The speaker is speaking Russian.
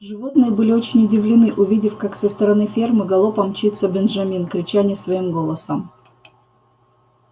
животные были очень удивлены увидев как со стороны фермы галопом мчится бенджамин крича не своим голосом